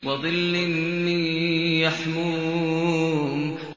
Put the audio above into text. وَظِلٍّ مِّن يَحْمُومٍ